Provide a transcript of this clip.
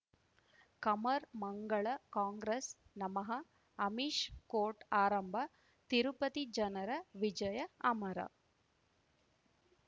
ಕಮರ್ ಮಂಗಳ ಕಾಂಗ್ರೆಸ್ ನಮಃ ಅಮಿಷ್ ಕೋರ್ಟ್ ಆರಂಭ ತಿರುಪತಿ ಜನರ ವಿಜಯ ಅಮರ